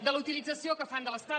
de la utilització que fan de l’estat